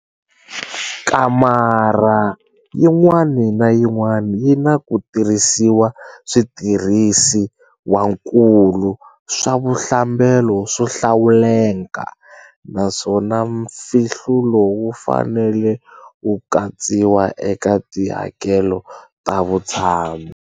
Kamara yin'wana na yin'wana yi na ku tirhisiwa switirhisiwankulu swa vuhlambelo swo hlawuleka, naswona mfihlulo wu fanele wu katsiwa eka tihakelo ta vutshamo.